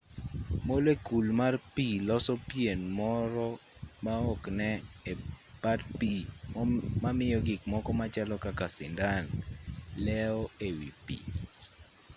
molekul mar pi loso pien moro ma okne e pat pi mamiyo gikmoko machalo kaka sindan leo e wi pi